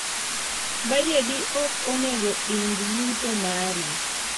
Bajedi ok onego ing yuto mari